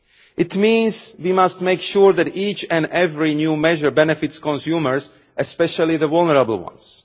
It means we must make sure that each and every new measure benefits consumers, especially the vulnerable ones.